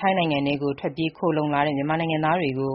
ထိုင်းနိုင်ငံထဲကို ထွက်ပြေးခိုလှုံလာတဲ့ မြန်မာနိုင်ငံသားတွေကို